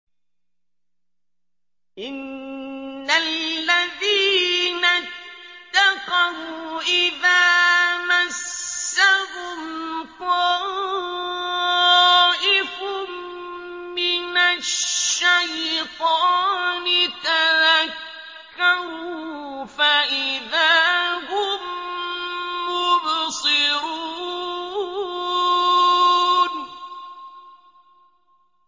إِنَّ الَّذِينَ اتَّقَوْا إِذَا مَسَّهُمْ طَائِفٌ مِّنَ الشَّيْطَانِ تَذَكَّرُوا فَإِذَا هُم مُّبْصِرُونَ